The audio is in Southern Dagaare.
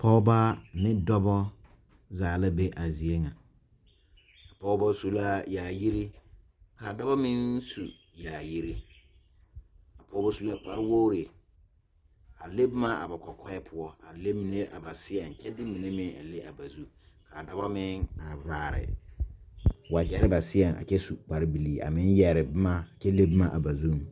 pɔgebɔ ne dɔbɔ zaa la be a zie ŋa a pɔgebɔ zu la yaayiri ka a dɔbɔ meŋ su yaayiri a pɔgeba su la kpare wogri a le boma ba kɔkɔɛ poɔ a le mine a ba seɛŋ a kyɛ de mine meŋ a le ba zu ka a dɔbɔ meŋ a vaare wagyere ba seɛŋ a kyɛ su kparebilii a meŋ yɛre boma kyɛ le boma ba zuŋ.